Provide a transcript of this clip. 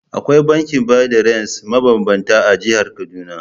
Akwai bankin bada rance mabambanta a jihar Kaduna.